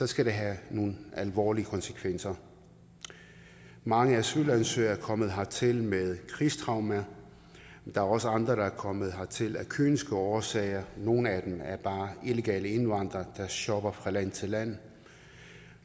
skal det have nogle alvorlige konsekvenser mange asylansøgere er kommet hertil med krigstraumer der er også andre der er kommet hertil af kyniske årsager nogle af dem er bare illegale indvandrere der shopper fra land til land